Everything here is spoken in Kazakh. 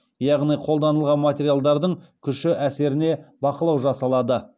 яғни қолданылған материалдардың күші әсеріне бақылау жасалады